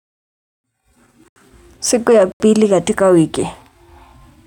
Siku ya pili katika wiki.